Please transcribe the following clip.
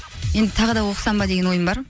енді тағы да оқысам ба деген ойым бар